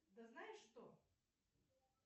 да знаешь что